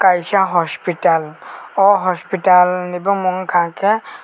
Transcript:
kaisa hospital o hospital ni bomong wngka ke.